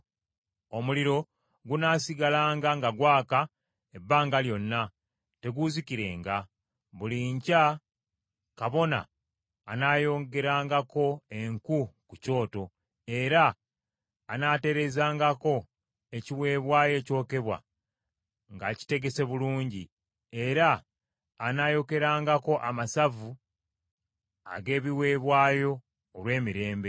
Omuliro gunaasigalanga nga gwaka ebbanga lyonna, teguuzikirenga. Buli nkya kabona anaayongerangako enku ku kyoto; era anaatereezangako ekiweebwayo ekyokebwa ng’akitegese bulungi; era anaayokerangako amasavu ag’ebiweebwayo olw’emirembe.